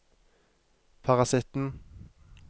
parasitten